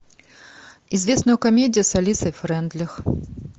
известную комедию с алисой фрейндлих